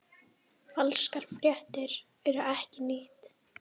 Falskar fréttir eru ekkert nýtt.